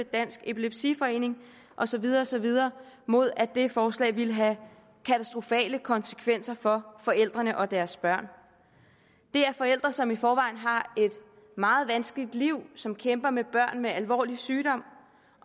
dansk epilepsiforening og så videre og så videre mod at det forslag ville have katastrofale konsekvenser for forældrene og deres børn det er forældre som i forvejen har et meget vanskeligt liv som kæmper med børn med alvorlig sygdom